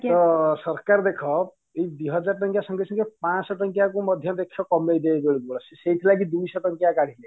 ତ ସରକାର ଦେଖ ଏଇ ଦିହଜାର ଟଙ୍କିଆ ସଙ୍ଗେ ସଙ୍ଗେ ପାଞ୍ଚଶହ ଟଙ୍କିଆ କୁ ମଧ୍ୟ ଦେଖିବ କମେଇ ସେଇଥି ଲାଗି ଦୁଇଶହ ଟଙ୍କିଆ କାଢ଼ିଲେ